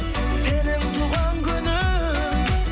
сенің туған күнің